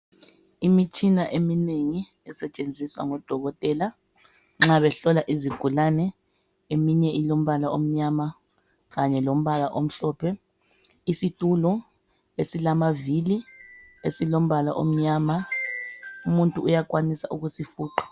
Imitshina eminengi esetshenziswa ngabodokotela nxa behlola izigulane, eminye ilombala omnyama kanye lombala omhlophe, isitulo esilamavili esilombala omnyama, umuntu uyakwanisa ukusifuqa.